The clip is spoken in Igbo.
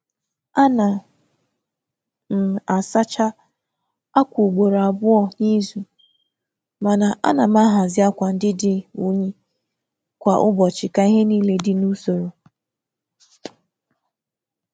A na m asacha akwa ugboro abụọ n’izu, ma na-ahazi akwa dị ọcha kwa ụbọchị ka ihe dị n’usoro.